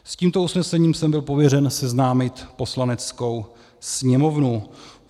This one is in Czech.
S tímto usnesením jsem byl pověřen seznámit Poslaneckou sněmovnu.